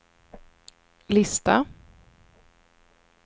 lista